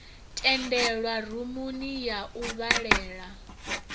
tendelwa rumuni ya u vhalela